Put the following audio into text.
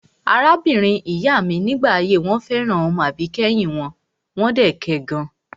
Arábìnrin ìyá mi ní ìgbà ayé wọn fẹ́ràn ọmọ àbíkẹ́yìn wọn, wọ́n dẹ̀ kẹ gan.